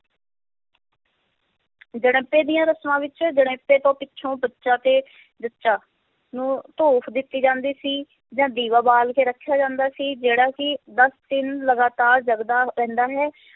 ਜਣੇਪੇ ਦੀਆਂ ਰਸਮਾਂ ਵਿੱਚ ਜਣੇਪੇ ਤੋਂ ਪਿੱਛੇ ਬੱਚਾ ਤੇ ਜੱਚਾ ਨੂੰ ਧੂਪ ਦਿੱਤੀ ਜਾਂਦੀ ਸੀ ਜਾਂ ਦੀਵਾ ਬਾਲ ਕੇ ਰੱਖਿਆ ਜਾਂਦਾ ਸੀ, ਜਿਹੜਾ ਕਿ ਦਸ ਦਿਨ ਲਗਾਤਾਰ ਜਗਦਾ ਰਹਿੰਦਾ ਹੈ।